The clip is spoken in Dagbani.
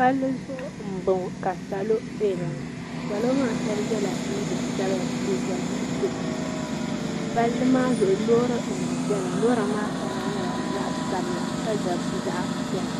Palli zuɣu n bɔŋɔ ka salo bɛ dini salo maa shɛba yiɛla liiga sabila liiga nuɣiso palli maa zuɣu loori nima bɛni lɔra maa shɛŋa nyɛla zaɣi sabila ka gabi zaɣi piɛlla